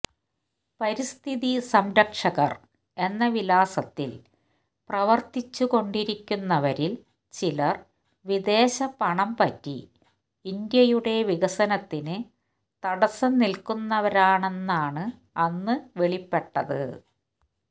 പരിസ്ഥിതി സംരക്ഷകര് എന്ന വിലാസത്തില് പ്രവര്ത്തിച്ചുകൊണ്ടിരിക്കുന്നവരില് ചിലര് വിദേശ പണം പറ്റി ഇന്ത്യയുടെ വികസനത്തിന് തടസ്സം നില്ക്കുന്നവരാണെന്നാണ് അന്ന് വെളിപ്പെട്ടത്